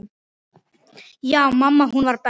Já, mamma hún var best.